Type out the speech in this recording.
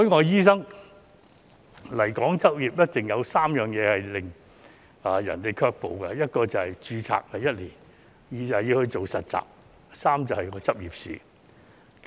有3件事一直令海外醫生對來港執業卻步：第一是註冊年期只有1年，第二是實習，第三是執業試。